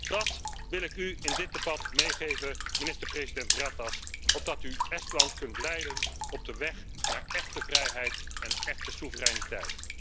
En dat wil ik u in dit debat meegeven, minister president Ratas, opdat u Estland kunt leiden op de weg naar echte vrijheid en echte soevereiniteit.